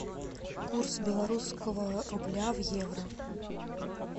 курс белорусского рубля в евро